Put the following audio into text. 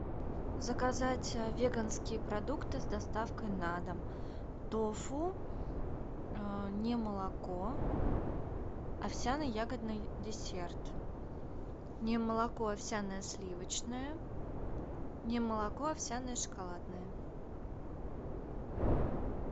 заказать веганские продукты с доставкой на дом тофу немолоко овсяно ягодный десерт немолоко овсяное сливочное немолоко овсяное шоколадное